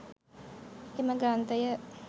එම ග්‍රන්ථය